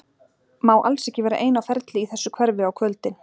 Má alls ekki vera ein á ferli í þessu hverfi á kvöldin.